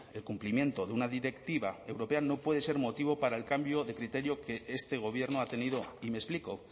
el cumplimiento de una directiva europea no puede ser motivo para el cambio de criterio que este gobierno ha tenido y me explico